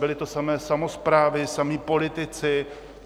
Byly to samé samosprávy, samí politici.